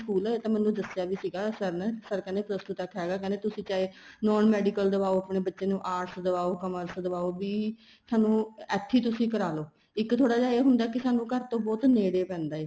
school ਇਹ ਤਾਂ ਮੈਨੂੰ ਦੱਸਿਆ ਵੀ ਸੀਗਾ sir ਨੇ sir ਕਹਿੰਦੇ plus two ਤੱਕ ਹੈਗਾ ਤੁਸੀਂ ਚਾਹੇ Non Medical ਦਵਾਓ ਆਪਣੇ ਬੱਚੇ ਨੂੰ arts ਦਵਾਹੋ commerce ਦਵਾਓ ਵੀ ਸਾਨੂੰ ਇੱਥੇ ਹੀ ਤੁਸੀਂ ਕਰਾਲੋ ਇੱਕ ਥੋੜਾ ਜਾ ਇਹ ਹੁੰਦਾ ਕੀ ਸਾਨੂੰ ਘਰ ਤੋ ਬਹੁਤ ਨੇੜੇ ਪੈਂਦਾ ਏ